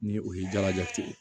Ni o ye jalajate ye